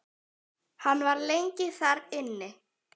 Hann var lengi þar inni.